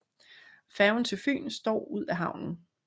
Færgen til Fyn står ud af havnen